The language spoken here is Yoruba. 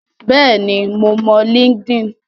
Bẹ́ẹ̀ ni, mo mọ Linkedin.